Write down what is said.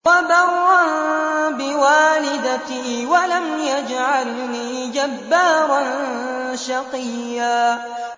وَبَرًّا بِوَالِدَتِي وَلَمْ يَجْعَلْنِي جَبَّارًا شَقِيًّا